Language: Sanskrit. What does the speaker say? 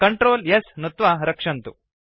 Ctrl S नुत्वा रक्षन्तु